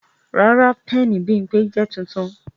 Rara, pẹẹni Bimpe jẹ tuntun